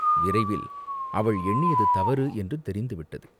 விரைவில் அவள் எண்ணியது தவறு என்று தெரிந்து விட்டது.